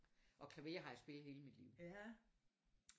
Og klaver har jeg spillet hele mit liv